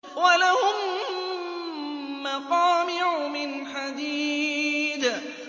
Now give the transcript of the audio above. وَلَهُم مَّقَامِعُ مِنْ حَدِيدٍ